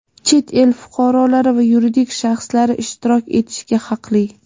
chet el fuqarolari va yuridik shaxslari ishtirok etishga haqli.